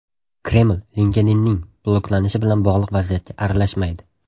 Kreml LinkedIn’ning bloklanishi bilan bog‘liq vaziyatga aralashmaydi.